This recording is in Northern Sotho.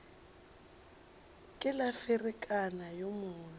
ke la ferekana yo mobe